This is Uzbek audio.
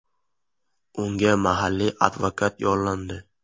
Unga mahalliy advokat yollandi.